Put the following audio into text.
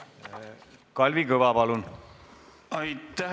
Kalvi Kõva, palun!